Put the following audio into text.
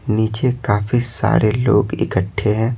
नीचे काफी सारे लोग इकट्ठे हैं।